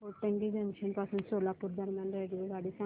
Hotgi junction पासून सोलापूर दरम्यान रेल्वेगाडी सांगा